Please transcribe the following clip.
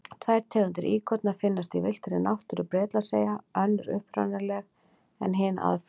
Tvær tegundir íkorna finnast í villtri náttúru Bretlandseyja, önnur upprunaleg en hin aðflutt.